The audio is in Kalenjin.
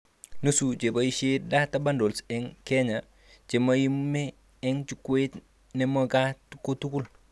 Nusu cheboishe 'data bundles' eng Kenya chemaime eng jukwait nemagat kotugul